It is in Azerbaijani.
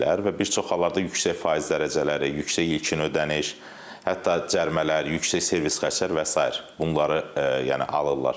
Və bir çox hallarda yüksək faiz dərəcələri, yüksək ilkin ödəniş, hətta cərimələr, yüksək servis xərcləri və sair bunları yəni alırlar.